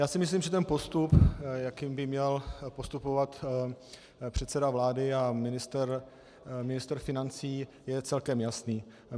Já si myslím, že ten postup, jakým by měl postupovat předseda vlády a ministr financí, je celkem jasný.